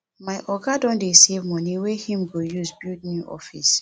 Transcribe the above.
my oga don dey save money wey im go use build new office